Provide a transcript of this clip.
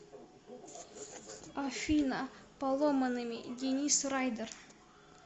афина поломанными денис райдер